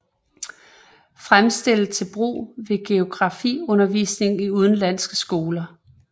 Fremstillet til brug ved geografiundervisningen i udenlandske skoler